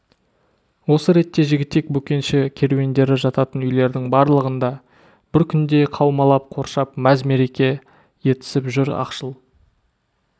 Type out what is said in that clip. осы ретте жігітек бөкенші керуендері жататын үйлердің барлығында бір күңде қаумалап қоршап мәз-мереке етісіп жүр ақшыл